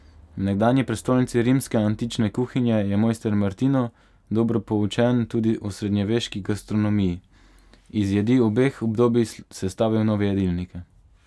V nekdanji prestolnici rimske antične kuhinje je mojster Martino, dobro poučen tudi o srednjeveški gastronomiji, iz jedi obeh obdobij sestavil nove jedilnike.